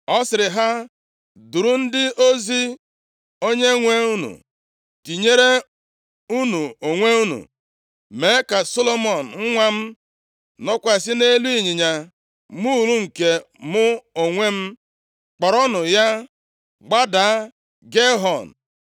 ọ sịrị ha, “Duru ndị ozi + 1:33 Ndị ozi nʼụlọeze, a na-ekwu ihe banyere ha nʼebe a, bụ ndị agha eze. onyenwe unu, tinyere unu onwe unu, mee ka Solomọn nwa m nọkwasị nʼelu ịnyịnya muul nke mụ onwe m, kpọrọnụ ya gbada Gaihọn.